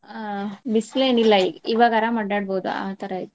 ಅಹ್ ಬಿಸಲ್ ಏನ್ ಇಲ್ಲಾ ಈಗ ಇವಾಗ್ ಅರಾಮ್ ಅಡ್ಯಾಡ್ಬಹುದ ಆತರಾ ಐತಿ.